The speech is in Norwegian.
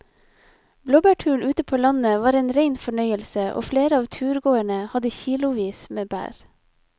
Blåbærturen ute på landet var en rein fornøyelse og flere av turgåerene hadde kilosvis med bær.